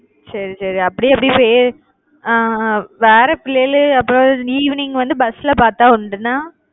சரி சரி அப்படியே எப்படி செய்ய ஆஹ் அஹ் வேற பிள்ளைல அப்புறம் நீ evening வந்து bus ல பாத்தா உண்டுன்னா?